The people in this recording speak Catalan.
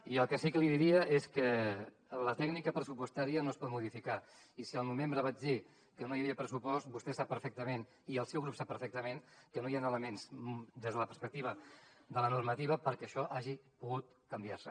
i el que sí que li diria és que la tècnica pressupostària no es pot modificar i si al novembre vaig dir que no hi havia pressupost vostè sap perfectament i el seu grup sap perfectament que no hi han elements des de la perspectiva de la normativa perquè això hagi pogut canviar se